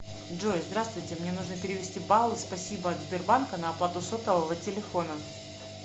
джой здравствуйте мне нужно перевести баллы спасибо от сбербанка на оплату сотового телефона